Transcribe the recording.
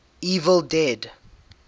evil dead